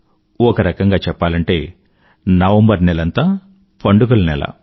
ఒకరకంగా చెప్పాలంటే నవంబర్ నెలంతా పండుగల నెల